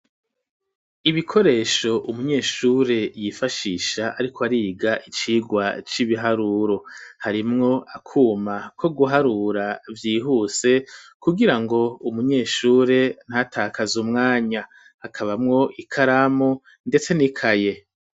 Ibikoresho umunyeshure yifashisha ariko ariga icigwa c'ibiharuro harimwo akuma ko guharura vyihuse kugirango umunyeshure ntatakaze umwanya akabamwo ikaramu ndetse nikaye.